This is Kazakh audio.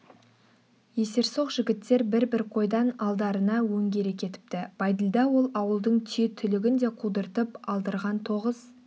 есерсоқ жігіттер бір-бір қойдан алдарына өңгере кетіпті бәйділда ол ауылдың түйе түлігін де қудыртып алдырган тоғыз